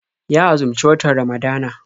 Ya azumci watan Ramadana.